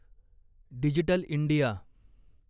digital India